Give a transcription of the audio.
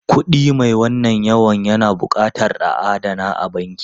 Kuɗi mai wannan yawan na buƙatar a adana a banki.